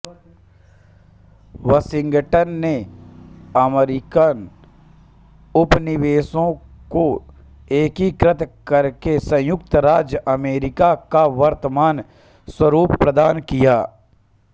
Washington ने American उपनिवेशों को एकीकृत करके संयुक्त राज्य अमरीका का वर्तमान स्वरूप प्रदान किया